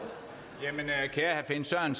han